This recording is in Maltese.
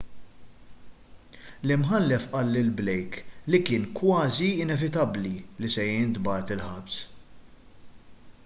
l-imħallef qal lil blake li kien kważi inevitabbli li se jintbagħat il-ħabs